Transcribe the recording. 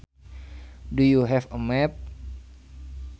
Do you have a map